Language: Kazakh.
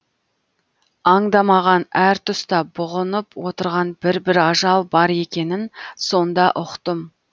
аңдамаған әр тұста бұғынып отырған бір бір ажал бар екенін сонда ұқтым